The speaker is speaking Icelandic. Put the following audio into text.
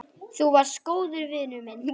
Þú varst góður vinur minn.